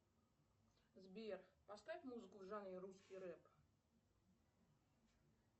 сбер поставь музыку в жанре русский рэп